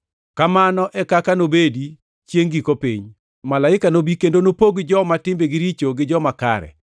Kamano e kaka nobedi chiengʼ giko piny. Malaike nobi kendo nopog joma timbegi richo gi joma kare,